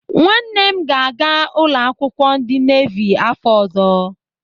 Nwanne m ga-aga ụlọakwụkwọ ndị nevi afọ ọzọ.